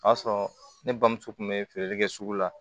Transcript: O y'a sɔrɔ ne bamuso tun bɛ feereli kɛ sugu la